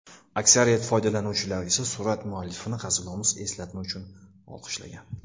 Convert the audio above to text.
Aksariyat foydalanuvchilar esa surat muallifini hazilomuz eslatma uchun olqishlagan.